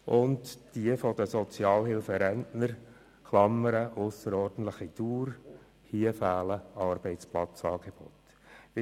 Bezüglich «ausserordentlicher Dauer» fehlen hingegen bei den Sozialhilferentnern Arbeitsplatzangebote.